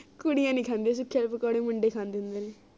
ਕੁੜੀਆਂ ਨੀ ਖਾਂਦੀਆਂ ਵਾਲੇ ਪਕੌੜੇ ਮੁੰਡੇ ਖਾਂਦੇ ਹੁੰਦੇ ਨੇ